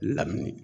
Lamini